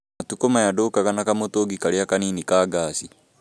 Matukũ maya ndũgaga na kamũtũngi karĩa kanini ka ngaci